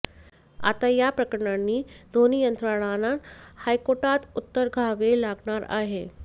आता याप्रकरणी दोन्ही यंत्रणांना हायकोर्टात उत्तर द्यावे लागणार आहे